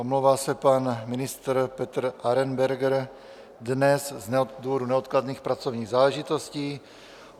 Omlouvá se pan ministr Petr Arenberger dnes z důvodu neodkladných pracovních záležitostí.